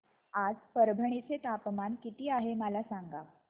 आज परभणी चे तापमान किती आहे मला सांगा